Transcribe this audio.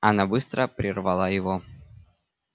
она быстро прервала его